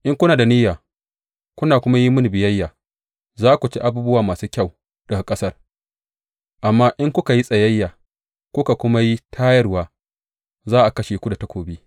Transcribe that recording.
In kuna da niyya kuna kuma yi mini biyayya, za ku ci abubuwa masu kyau daga ƙasar; amma in kuka yi tsayayya kuka kuma yi tayarwa, za a kashe ku da takobi.